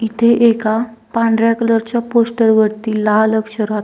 इथे एका पांढऱ्या कलर च्या पोस्टर वरती लाल अक्षरात--